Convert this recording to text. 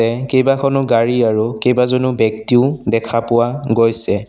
এহ কেইবাখনো গাড়ী আৰু কেইবাজনো ব্যক্তিও দেখা পোৱা গৈছে।